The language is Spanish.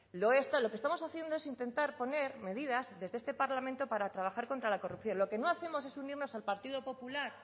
lo que estamos haciendo es intentar poner medidas desde este parlamento para trabajar contra la corrupción lo que no hacemos es unirnos al partido popular